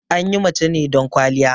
Anyi mace ne don ƙwaliya